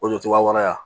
O jɔcogoya wɛrɛ